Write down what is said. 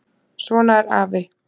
Svona er afi.